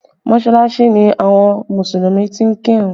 Mọsalasi ni àwọn Mùsùlùmí ti ń kí ìrun